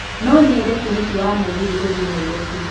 No nyende tigiti wa mũgithi gũthiĩ nairobi